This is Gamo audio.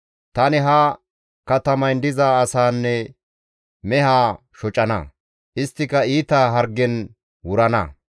Tani ha katamayn diza asaanne mehaa shocana; isttika iita hargen wurana.